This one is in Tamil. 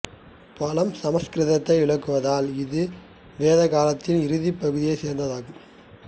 பழம் சமசுக்கிருதத்தை விளக்குவதால் இது வேதகாலத்தின் இறுதிப் பகுதியைச் சேர்ந்ததாகும்